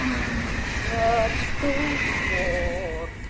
Hvað stóð þar?